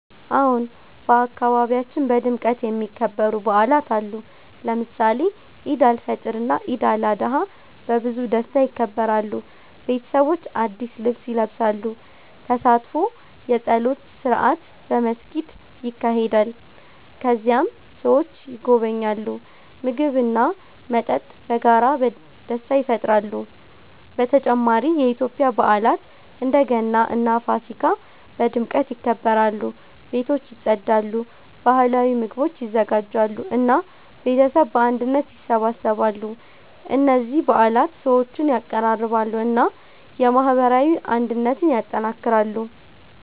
አዎን፣ በአካባቢያችን በድምቀት የሚከበሩ በዓላት አሉ። ለምሳሌ ኢድ አልፈጥር እና ኢድ አልአድሃ በብዙ ደስታ ይከበራሉ። ቤተሰቦች አዲስ ልብስ ይለብሳሉ፣ ተሳትፎ የጸሎት ስርዓት በመስጊድ ይካሄዳል። ከዚያም ሰዎች ይጎበኛሉ፣ ምግብ እና መጠጥ በመጋራት ደስታ ይፈጥራሉ። በተጨማሪ የኢትዮጵያ በዓላት እንደ ገና እና ፋሲካ በድምቀት ይከበራሉ። ቤቶች ይጸዳሉ፣ ባህላዊ ምግቦች ይዘጋጃሉ እና ቤተሰብ በአንድነት ይሰበሰባሉ። እነዚህ በዓላት ሰዎችን ያቀራርባሉ እና የማህበራዊ አንድነትን ያጠናክራሉ።